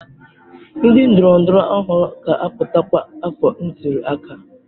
Ndị ndọrọndọrọ ọhụrụ ga-apụta kwa afọ ntuli aka.